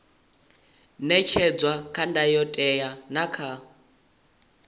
ṅetshedzwa kha ndayotewa na kha